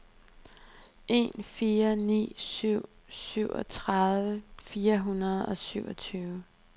en fire ni syv syvogtredive fire hundrede og syvogtyve